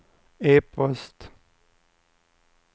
e-post